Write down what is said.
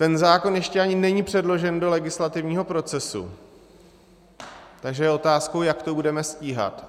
Ten zákon ještě ani není předložen do legislativního procesu, takže je otázkou, jak to budeme stíhat.